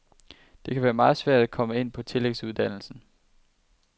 Det kan være meget svært at komme ind på tillægsuddannelsen.